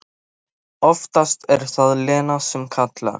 En oftast er það Lena sem kallar.